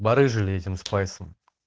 барыжили этим спайсом